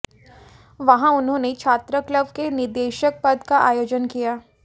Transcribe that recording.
वहां उन्होंने छात्र क्लब के निदेशक पद का आयोजन किया